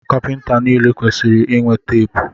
Kapịnta niile kwesịrị inwe teepu.